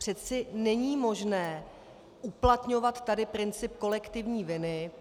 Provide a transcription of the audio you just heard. Přeci není možné uplatňovat tady princip kolektivní viny.